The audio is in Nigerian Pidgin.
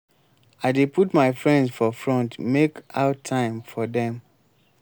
i dey put my friends for front make out time for dem.